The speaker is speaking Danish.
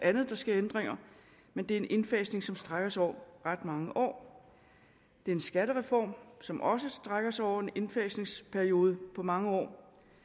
andet der sker ændringer men det er en indfasning som strækker sig over ret mange år det er en skattereform som også strækker sig over en indfasningsperiode på mange år